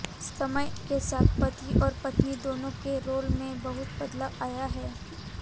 समय के साथ पति और पत्नी दोनों के रोल में बहुत बदलाव आया है